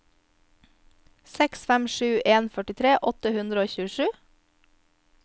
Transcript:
seks fem sju en førtitre åtte hundre og tjuesju